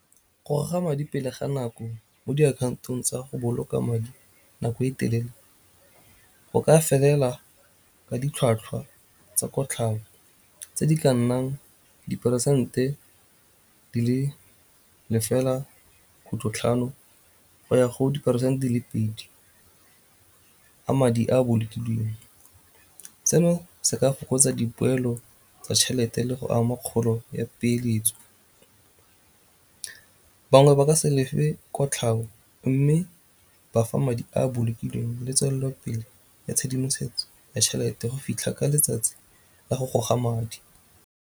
Go goga madi pele ga nako mo diakhaontong tsa go boloka madi nako e telele go ka felela ka ditlhwatlhwa tsa kotlhao tse di ka nnang diperesente di le lefela khutlho tlhano go ya go diperesente di le pedi a madi a bolokilweng. Seno se ka fokotsa dipoelo tsa tšhelete le go ama kgolo ya peeletso. Bangwe ba ka se lefe kotlhao mme bafa madi a bolokilweng le tswelelopele ya tshedimosetso ya tšhelete go fitlha ka letsatsi la go goga madi.